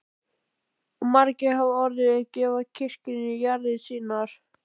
Og margir hafa orðið til að gefa kirkjunni jarðir sínar.